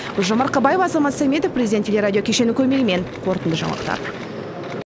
гүлжан марқабаева азамат сәметов президент телерадио кешенінің көмегімен қорытынды жаңалықтар